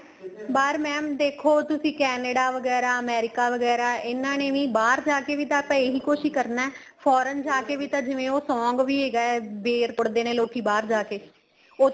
ਬਾਹਰ mam ਦੇਖੋ ਤੁਸੀਂ Canada ਵਗੈਰਾ America ਵਗੈਰਾ ਇਹਨਾ ਨੇ ਵੀ ਬਹਾਰ ਜਾਕੇ ਵੀ ਆਪਾਂ ਏਹੀ ਕੁੱਛ ਕਰਨਾ ਏ foreign ਜਾਕੇ ਤਾਂ ਜਿਵੇਂ ਉਹ song ਵੀ ਹੈਗਾ ਬੇਰ ਪੁੱਟਦੇ ਨੇ ਲੋਕੀ ਬਹਾਰ ਜਾਕੇ ਉੱਥੇ